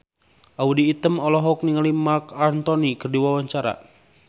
Audy Item olohok ningali Marc Anthony keur diwawancara